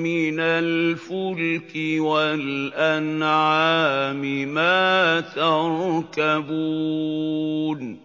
مِّنَ الْفُلْكِ وَالْأَنْعَامِ مَا تَرْكَبُونَ